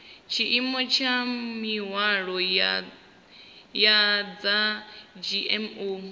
tshiimo tsha mihwalo ya dzgmo